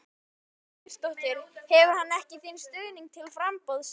Þóra Kristín Ásgeirsdóttir: Hefur hann ekki þinn stuðning til framboðsins?